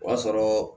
O y'a sɔrɔ